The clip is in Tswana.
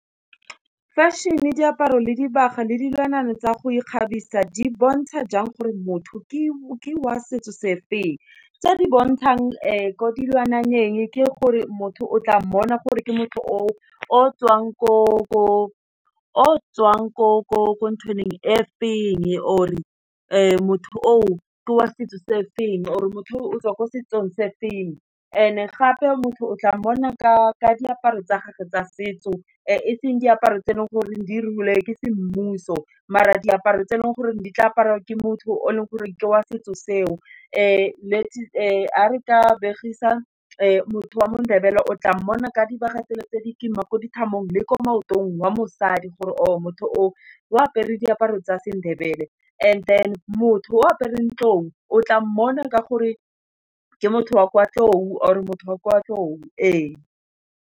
Fashion-e, diaparo, dibaga, le dilwana tsa go ikgabisa, di bontsha jang gore motho ke wa setso se feng, tse di bontshang ko dilwananeng ke gore motho o tla mmona gore ke motho o tswang ko nthwaneng or motho o ke wa setso se e feng or motho o tswa ko setsong se feng and e gape motho o tla mmona ka diaparo tsa gagwe tsa setso eseng diaparo tse e leng goreng di ruiwe ke semmuso maar a diaparo tse e leng gore di tla apariwa ke motho o e leng goreng ke wa setso seo, a re ka begisa motho wa mo-Ndebele o tla mmona ka dibaga tse le tse di kima le ko maotong wa mosadi gore o motho o o apere diaparo tsa Sendebele and then motho o apereng tlou o tla mmona ka gore ke motho wa kwa tlou or motho wa kwa tlotlu e.